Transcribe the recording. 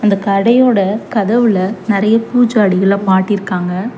இந்த கடையோடா கதவுல நெறைய பூ ஜாடிகள மாட்டிர்க்காங்க.